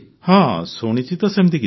ହଁ ଶୁଣିଛି ତ ସେମିତି କିଛି